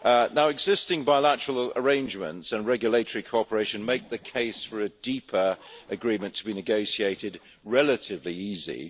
Now existing bilateral arrangements and regulatory cooperation make the case for a deeper agreement to be negotiated relatively easily.